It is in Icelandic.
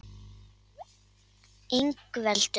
Ingveldur